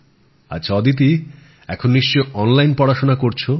আচ্ছা অদিতি এখন নিশ্চয়ই অনলাইন পড়াশোনা করছ